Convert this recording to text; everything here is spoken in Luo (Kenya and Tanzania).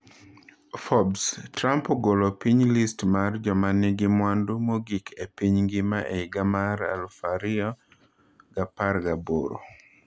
Forbes: Trump ogolo piny list mar jomanigi mwandu mogik e piny ngima e higa mar 2018